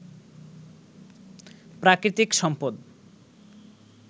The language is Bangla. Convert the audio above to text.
প্রাকৃতিক সম্পদ